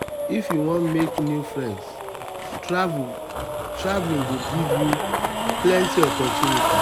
if you wan make new friends travel go give you plenty opportunities.